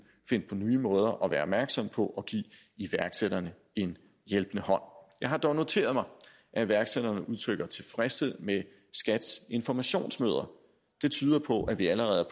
finde på nye måder at være opmærksomme på at give iværksætterne en hjælpende hånd jeg har dog noteret mig at iværksætterne udtrykker tilfredshed med skats informationsmøder det tyder på at vi allerede